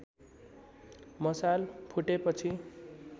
मसाल फुटेपछि